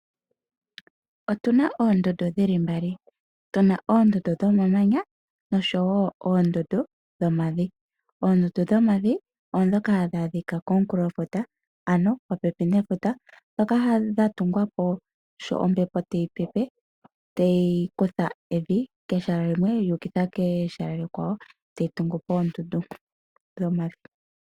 Otuna oondundu dhili mbali. Tuna oondundu dhomamanya noshowo oondundu dhomavi. Oondundu dhomavi odhoka hadhaadhika komukulofuta ano popepi nefuta dhoka dha tungwapo sho ombepo tayi pepe, tayi kutha evi keshala limwe yuukitha keshala likwawo etayi tungupo oondundu dhomavi.